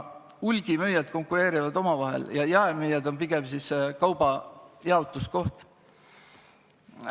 Hulgimüüjad konkureerivad omavahel ja jaemüüjad on pigem kaubajaotuskohad.